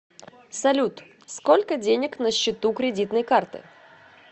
салют сколько денег на счету кредитной карты